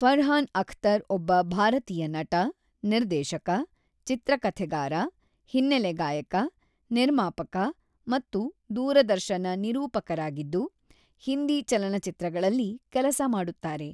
ಫರ್ಹಾನ್ ಅಖ್ತರ್ ಒಬ್ಬ ಭಾರತೀಯ ನಟ, ನಿರ್ದೇಶಕ, ಚಿತ್ರಕಥೆಗಾರ, ಹಿನ್ನೆಲೆ ಗಾಯಕ, ನಿರ್ಮಾಪಕ ಮತ್ತು ದೂರದರ್ಶನ ನಿರೂಪಕರಾಗಿದ್ದು, ಹಿಂದಿ ಚಲನಚಿತ್ರಗಳಲ್ಲಿ ಕೆಲಸ ಮಾಡುತ್ತಾರೆ.